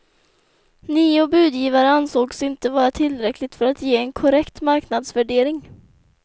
Nio budgivare ansågs inte vara tillräckligt för att ge en korrekt marknadsvärdering.